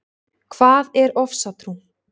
Hvað er ofsatrú?